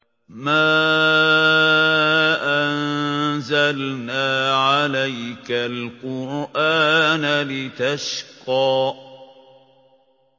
مَا أَنزَلْنَا عَلَيْكَ الْقُرْآنَ لِتَشْقَىٰ